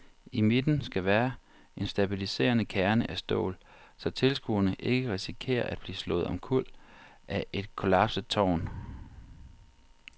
I midten skal være en stabiliserende kerne af stål, så tilskuere ikke risikerer at blive slået omkuld af et kollapset tårn.